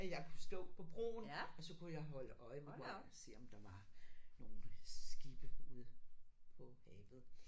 At jeg kunne stå på broen og så kunne jeg holde øje med og se om der var nogle skibe ude på havet